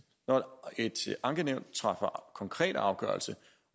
når et ankenævn træffer konkret afgørelse